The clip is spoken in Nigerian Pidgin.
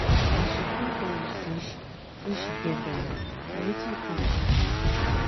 as she come tell you say she say she get belle na wetin you come tell am?